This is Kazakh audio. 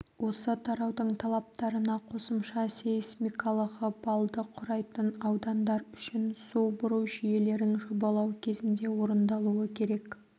осы тараудың талаптарына қосымша сейсмикалығы балды құрайтын аудандар үшін су бұру жүйелерін жобалау кезінде орындалуы керек